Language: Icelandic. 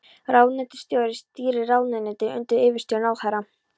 Ráðuneytisstjóri stýrir ráðuneytinu undir yfirstjórn ráðherra.